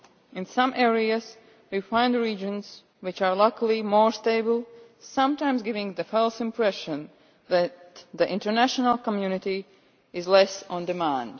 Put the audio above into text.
In some areas, we find regions which are luckily more stable, sometimes giving the false impression that the international community is less in demand.